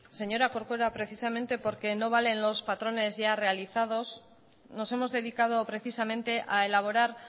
señora corcuera precisamente porque no valen los patrones ya realizados nos hemos dedicado precisamente a elaborar